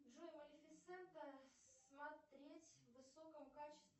джой малефисента смотреть в высоком качестве